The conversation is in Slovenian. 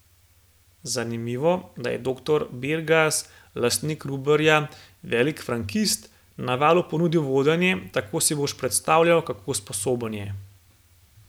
Zanimivo, da je doktor Bergaz, lastnik Ruberja, velik frankist, Navalu ponudil vodenje, tako si boš predstavljal, kako sposoben je.